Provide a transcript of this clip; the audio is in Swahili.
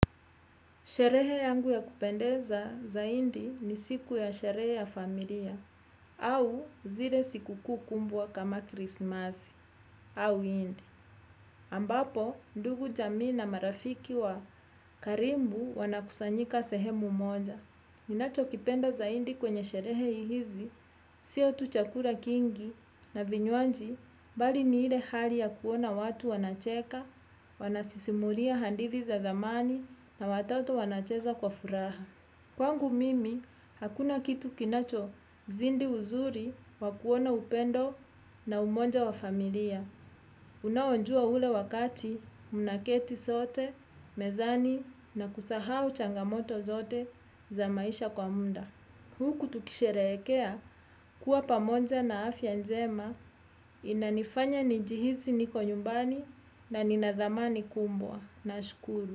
Sherehe yangu ya kupendeza zaindi ni siku ya sherehe ya familia, au zile siku kuu kumbwa kama krismasi, au indi. Ambapo, ndugu jamii na marafiki wa karimbu wanakusanyika sehemu moja. Ninachokipenda zaindi kwenye sherehe hizi, sio tu chakura kingi na vinywanji, bali ni ile hali ya kuona watu wanacheka, wanasisimulia handithi za zamani na watoto wanacheza kwa furaha. Kwangu mimi, hakuna kitu kinachozindi uzuri wa kuona upendo na umonja wa familia. Unaonjua ule wakati, munaketi sote, mezani na kusahau changamoto zote za maisha kwa munda. Huku tukisherekea kuwa pamoja na afya njema inanifanya nijihisi niko nyumbani na nina dhamani kumbwa. Nashukuru.